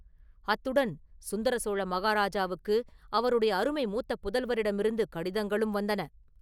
அத்துடன் சுந்தர சோழ மகாராஜாவுக்கு அவருடைய அருமை மூத்த புதல்வரிடமிருந்து கடிதங்களும் வந்தன.